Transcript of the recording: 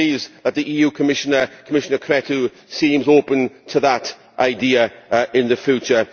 I am pleased that the EU Commissioner, Commissioner Crețu, seems open to that idea in the future.